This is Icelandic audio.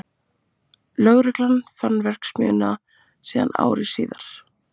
Lögregla fann verksmiðjuna síðan ári síðar